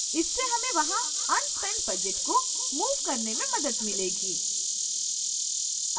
इससे हमें वहां unspent budget को move करने में मदद मिलेगी